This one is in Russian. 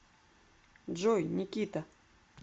джой никита